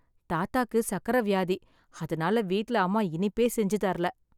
தாத்தாக்கு சக்கரை வியாதி, அதனால வீட்ல அம்மா இனிப்பே செஞ்சு தரல.